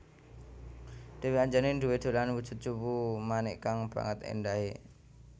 Dèwi Anjani duwé dolanan wujud cupu manik kang banget éndahé